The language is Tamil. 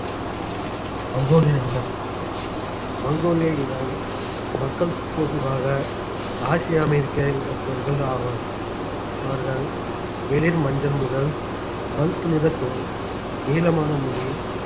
மங்கோலிய இனம் மங்கோலிய இன மக்கள் பொதுவாக ஆசிய அமெரிக்க இனத்தவர்கள் ஆவர் அவர்கள் வெளிர் மஞ்சள் முதல் பழுப்புநிறத் தோல் நீளமான முடி